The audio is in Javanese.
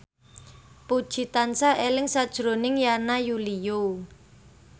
Puji tansah eling sakjroning Yana Julio